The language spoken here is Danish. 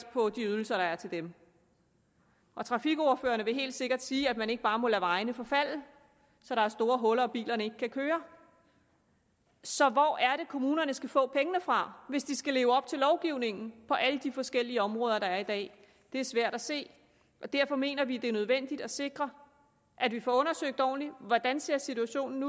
på de ydelser der er til dem og trafikordførerne vil helt sikkert sige at man ikke bare må lade vejene forfalde så der er store huller og bilerne ikke kan køre så hvor er det at kommunerne skal få pengene fra hvis de skal leve op til lovgivningen på alle de forskellige områder der er i dag det er svært at se og derfor mener vi det er nødvendigt at sikre at vi får undersøgt ordentligt hvordan situationen